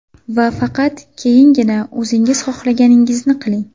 Va faqat keyingina o‘zingiz xohlaganingizni qiling.